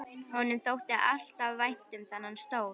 Honum þótti alltaf vænt um þennan stól.